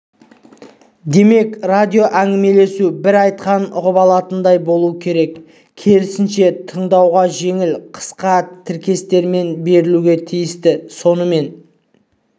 демек радиоәңгімелесу бір айтқанын ұғып алатындай болу керек керісінше тыңдауға жеңіл қысқа тіркестермен берілуге тиісті сонымен